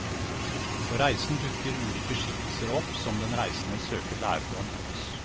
På reisen dukker ulike skikkelser opp som den reisende søker lærdom hos.